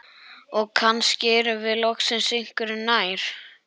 Og kannski erum við loksins einhverju nær.